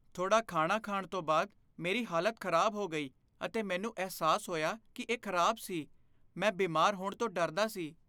ਥੋੜਾ ਖਾਣਾ ਖਾਣ ਤੋਂ ਬਾਅਦ ਮੇਰੀ ਹਾਲਤ ਖ਼ਰਾਬ ਹੋ ਗਈ ਅਤੇ ਮੈਨੂੰ ਅਹਿਸਾਸ ਹੋਇਆ ਕਿ ਇਹ ਖ਼ਰਾਬ ਸੀ। ਮੈਂ ਬਿਮਾਰ ਹੋਣ ਤੋਂ ਡਰਦਾ ਸੀ।